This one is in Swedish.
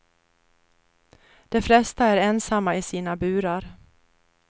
De flesta är ensamma i sina burar.